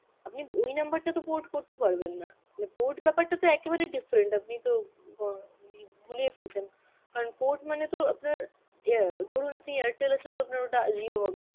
আপনি ওই number টা তো port করতে পারবেন না যে port ব্যাপারটা তো একেবারেই different, আপনি তো গ~ গুলিয়ে ফেলছেন. কারণ port মানে তো আপনার অ্যাঁ ধরুন আপনি Airtel আছে তো আপনার ওটা Jio হবে